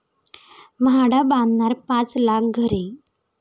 म्हाडा बांधणार पाच लाख घरे'